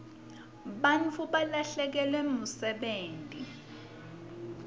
bantfu balahlekelwa msebenti